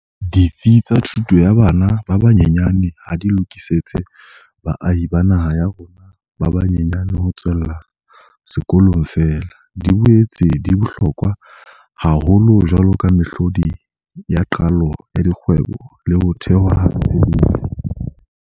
Ditsi tsa thuto ya bana ba banyenyane ha di lokisetse baahi ba naha ya rona ba ba nyenyane ho tswella sekolong feela, di boetse di bohlokwa haholo jwaloka mehlodi ya qalo ya dikgwebo le ho thehwa ha mesebetsi.